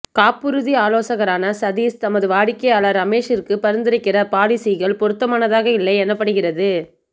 காப்புறுதி ஆலோசகரான சதீஷ் தமது வாடிக்கையாளர் ரமேஷிற்கு பரிந்துரைக்கிற பாலிசிக்கள் பொருத்தமாக இல்லை எனப்படுகிறது